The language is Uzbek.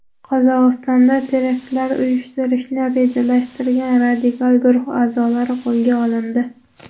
Qozog‘istonda teraktlar uyushtirishni rejalashtirgan radikal guruh a’zolari qo‘lga olindi.